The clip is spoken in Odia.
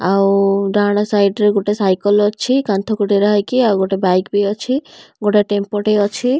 ଆଉ ଡାହାଣ ସାଇଟ୍ ରେ ଗୋଟେ ସାଇକଲ ଅଛି କାନ୍ଥକୁ ଡେରା ହେଇକି। ଆଉ ଗୋଟେ ବାଇକ ବି ଅଛି। ଗୋଟେ ଟେମ୍ପୋ ଟେ ଅଛି।